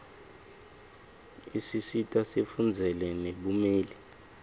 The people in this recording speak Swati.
isisita sifundzele nebumeli